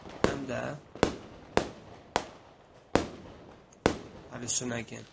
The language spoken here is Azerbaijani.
Həm də hallüsinogen.